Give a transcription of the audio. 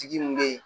Tigi min bɛ yen